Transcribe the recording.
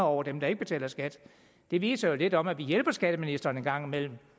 over dem der ikke betaler skat det viser jo lidt om at vi hjælper skatteministeren en gang imellem